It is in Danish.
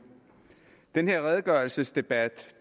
den her redegørelsesdebat